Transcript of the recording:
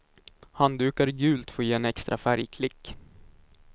Handdukar i gult får ge en extra färgklick.